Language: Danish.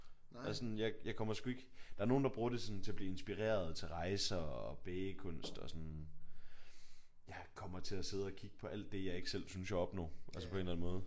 Altså sådan jeg jeg kommer sgu ikke der er nogen der bruger sådan det til at blive inspireret til rejser og bagekunst og sådan. Jeg kommer til at sidde og kigge på alt det jeg ikke selv synes jeg opnår på en eller anden måde